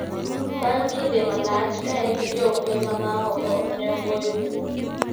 Bang' kinde malach ka en gi Johumbe mamaoko ne ogoyo bul ,